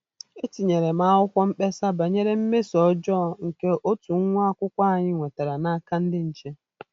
Etinyere m akwụkwọ mkpesa banyere mmeso ọjọọ nke otu nwa akwụkwọ anyị nwetara n'aka ndị nche